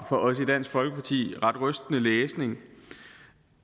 for os i dansk folkeparti var ret rystende læsning